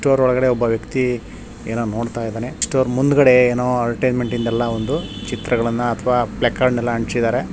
Book store ಒಳಗಡೆ ಒಬ್ಬ ವ್ಯಕ್ತಿ ಏನೋ ನೋಡುತ್ತಾ ಇದ್ದಾನೆ ಬುಕ್ ಸ್ಟೋರ್ ಮುಂದ್ಗಡೆ ಏನೋ ಅದ್ವೆಜ್ಮೆಂಟ್ ಇಂದ ಎಲ್ಲ ಚಿತ್ರಗಳನ್ನ ಫ್ಲೆಕ್ಸ್ ಗಳನ್ನ ಎಲ್ಲ ಅಂಟಿಸಿದರೆ.